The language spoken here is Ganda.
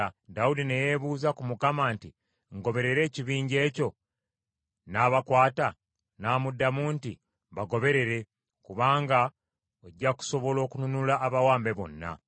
Dawudi ne yeebuuza ku Mukama nti, “Ngoberere ekibinja ekyo, nnaabakwata?” N’amuddamu nti, “Bagoberere, kubanga ojja kusobola okununula abawambe bonna.”